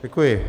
Děkuji.